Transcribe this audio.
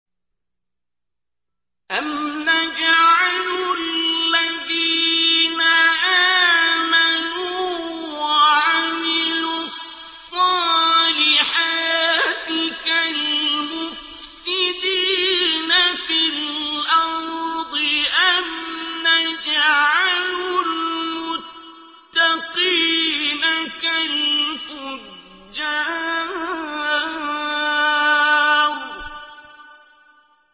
أَمْ نَجْعَلُ الَّذِينَ آمَنُوا وَعَمِلُوا الصَّالِحَاتِ كَالْمُفْسِدِينَ فِي الْأَرْضِ أَمْ نَجْعَلُ الْمُتَّقِينَ كَالْفُجَّارِ